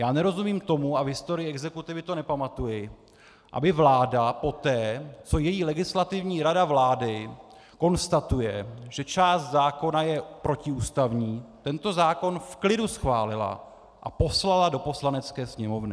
Já nerozumím tomu a v historii exekutivy to nepamatuji, aby vláda poté, co její Legislativní rada vlády konstatuje, že část zákona je protiústavní, tento zákon v klidu schválila a poslala do Poslanecké sněmovny.